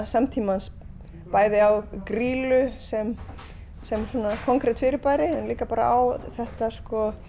samtímans bæði á Grýlu sem sem konkret fyrirbæri en líka bara á þetta